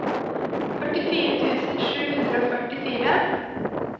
førtifire tusen sju hundre og førtifire